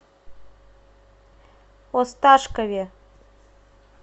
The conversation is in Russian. осташкове